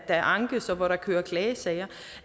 der ankes og hvor der køres klagesager